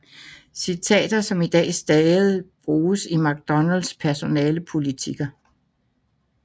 Citater som i dag stadig bruges i McDonalds personalepolitikker